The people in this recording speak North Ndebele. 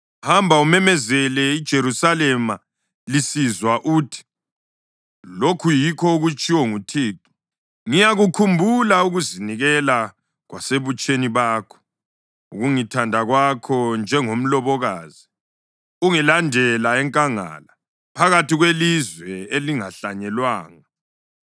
“Hamba umemezele iJerusalema lisizwa uthi: Lokhu yikho okutshiwo nguThixo: ‘Ngiyakukhumbula ukuzinikela kwasebutsheni bakho, ukungithanda kwakho njengomlobokazi ungilandela enkangala, phakathi kwelizwe elingahlanyelwanga.